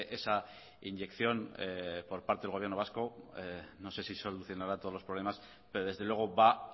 esa inyección por parte del gobierno vasco no sé si solucionará todos los problemas pero desde luego va